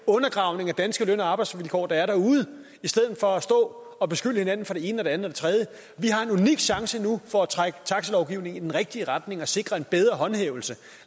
undergravelse af danske løn og arbejdsvilkår der er derude i stedet for at stå og beskylde hinanden for det ene og det andet vi har en unik chance nu for at trække taxalovgivningen i den rigtige retning og sikre en bedre håndhævelse